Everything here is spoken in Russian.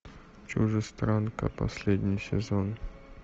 чужестранка последний сезон